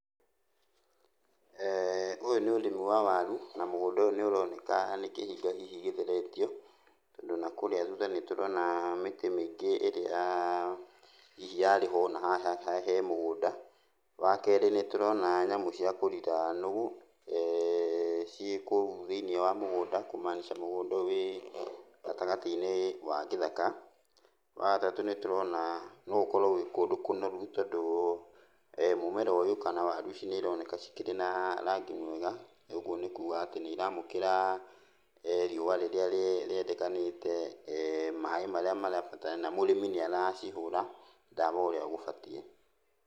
Ũyũ nĩ ũrĩmi wa waru na mũgũnda ũyũ nĩũroneka nĩ kĩhinga hihi gĩtheretio, tondũ nakũrĩa thutha nĩtũrona mĩtĩ mĩingĩ ĩrĩa hihi yarĩ ho, na haha he mũgũnda. Wakerĩ nĩtũrona nyamũ cia kũrira nũgũ ciĩ kũu thĩiniĩ wa mũgũnda, kũmaanica mũgũnda ũyũ wĩ gatagatĩ-inĩ wa gĩthaka. Wagatatũ nĩtũrona no ũkorwo wĩ kũndũ kũnoru tondũ mũmera ũyũ kana waru ici nĩironeka cikĩrĩ na rangi mwega, ũguo nĩkuga atĩ nĩiramũkĩra riũa rĩrĩa rĩendekanĩte, maĩ marĩa marabatarania, na mũrĩmi nĩaracihũra ndawa ũrĩa gũbatiĩ.